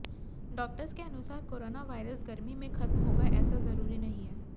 doctors के अनुसार corona virus गर्मी में खत्म होगा ऐसा जरूरी नहीं है